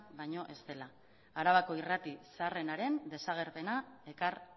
baino ez dela arabako irrati zaharrenaren desagerpena ekar